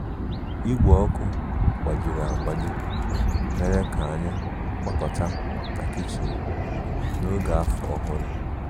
Igwe ọkụ gbajiri agbaji mere ka anyị gbakọta na kichin n'oge Afọ Ọhụrụ